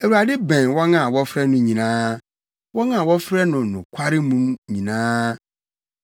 Awurade bɛn wɔn a wɔfrɛ no nyinaa, wɔn a wɔfrɛ no nokware mu nyinaa.